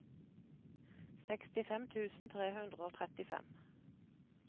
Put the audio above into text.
sekstifem tusen tre hundre og trettifem